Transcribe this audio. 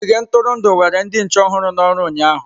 Ogige ntụrụndụ were ndị nche ọhụrụ n'oru ụnyahụ.